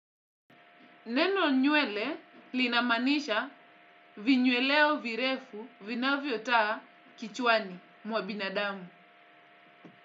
Neno nywele linamaanisha vinyweleo virefu vinavyo taa kichwani mwa binadamu.